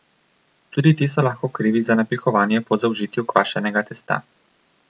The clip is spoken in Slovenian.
Tudi ti so lahko krivi za napihovanje po zaužitju kvašenega testa.